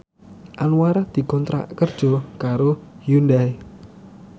Anwar dikontrak kerja karo Hyundai